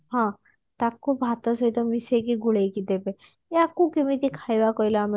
ହଁ ତାକୁ ଭାତ ସହିତ ମିଶେଇକି ଗୋଳେଇକି ଦେବେ ୟାକୁ କେମିତି ଖାଇବା କହିଲ ଆମେ